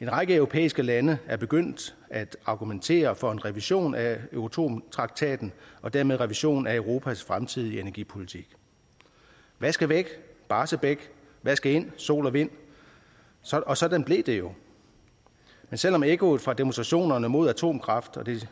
en række europæiske lande er begyndt at argumentere for en revision af euratom traktaten og dermed revision af europas fremtidige energipolitik hvad skal væk barsebäck hvad skal ind sol og vind og sådan blev det jo men selv om ekkoet fra demonstrationerne mod atomkraft og det